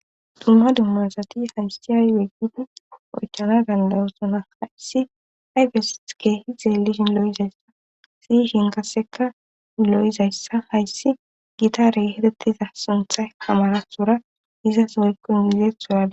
Dumma dummasati hamsiyaaweggid oychana gandayosona hayssi ayfesike hid dzeeli shin lo7izayssa siy shinkasseka lo7izayssa hayssi gitare hedettiza suntha kamarasora izas moyqo mizeethsodaa.